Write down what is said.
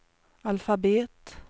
alfabet